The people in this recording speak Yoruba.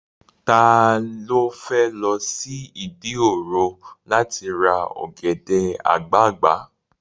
Ta ló fẹ́ lọ sí Ìdí òro láti ra ọ̀gẹ̀dẹ̀ àgbagbà?